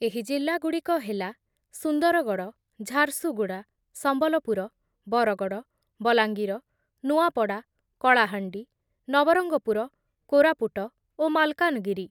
ଏହି ଜିଲ୍ଲାଗୁଡ଼ିକ ହେଲା ସୁନ୍ଦରଗଡ଼, ଝାରସୁଗୁଡ଼ା, ସମ୍ବଲପୁର, ବରଗଡ଼, ବଲାଙ୍ଗିର, ନୂଆପଡ଼ା, କଳାହାଣ୍ଡି, ନବରଙ୍ଗପୁର, କୋରାପୁଟ ଓ ମାଲକାନଗିରି ।